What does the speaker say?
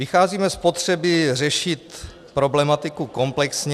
Vycházíme z potřeby řešit problematiku komplexně.